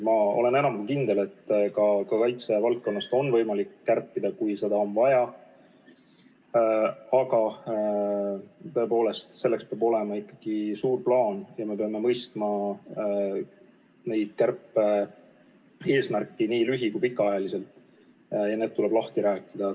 Ma olen enam kui kindel, et ka kaitsevaldkonnas on võimalik kärpida, kui seda on vaja, aga selleks peab olema ikkagi suur plaan ja me peame mõistma kärpe nii lühi- kui pikaajalist eesmärki ja need eesmärgid tuleb lahti rääkida.